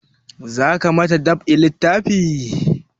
Za ka ma ta dab'i littafi?